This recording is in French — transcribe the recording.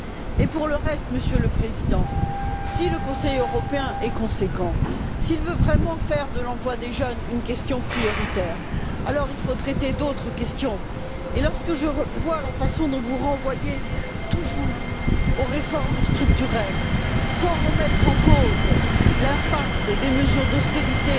Mais pour le reste, Monsieur le Président, si le Conseil européen est cohérent, s'il veut vraiment faire de l'emploi des jeunes une question prioritaire, alors il faut traiter d'autres questions. Et lorsque je vois la façon dont vous renvoyez toujours aux réformes structurelles, sans remettre en cause l'impact des mesures d'austérité